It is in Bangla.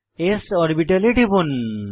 s অরবিটালে টিপুন